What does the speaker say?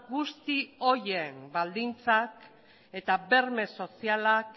guzti horien baldintzak eta berme sozialak